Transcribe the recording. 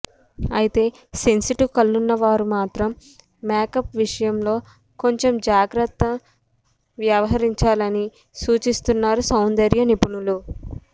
అయితే సెన్సిటివ్ కళ్లున్న వారు మాత్రం మేకప్ విషయంలో కొంచెం జాగ్రత్తగా వ్యవహిరంచాలని సూచిస్తున్నారు సౌందర్య నిపుణులు